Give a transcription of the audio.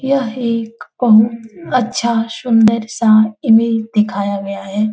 यह एक बहुत अच्छा सुंदर सा इमेज दिखाया गया है।